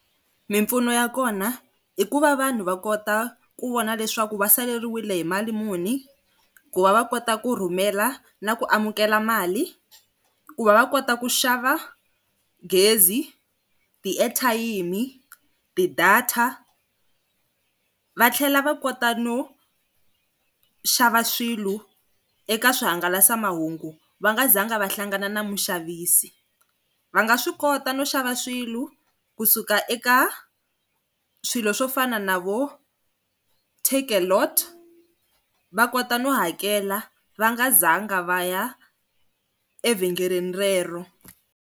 Mimpfuno ya kona i ku va vanhu va kota ku vona leswaku va saleriwile hi mali muni. Ku va va kota ku rhumela na ku amukela mali. Ku va va kota ku xava gezi ti-air-thayimi, ti-data va, tlhela va kota no xava swilo eka swihangalasamahungu va nga zanga va hlangana na muxavisi. Va nga swi kota no xava swilo kusuka eka swilo swo fana na vo Takealot va kota no hakela va nga zanga va ya evhengeleni rero.